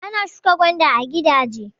Ana shuka gwanda a gigaje.